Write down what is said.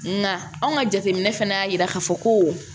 Nga anw ka jateminɛ fana y'a yira k'a fɔ ko